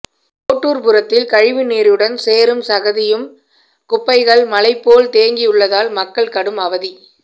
கோட்டூர்புரத்தில் கழிவுநீருடன் சேறும் சகதியும் குப்பைகள் மலை போல் தேங்கியுள்ளதால் மக்கள் கடும் அவதி